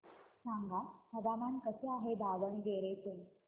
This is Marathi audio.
सांगा हवामान कसे आहे दावणगेरे चे